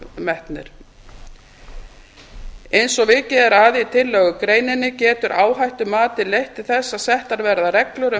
metnir eins og vikið er að í tillögugreininni getur áhættumatið leitt til þess að settar verði reglur um